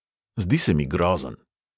Zdi se mi grozen.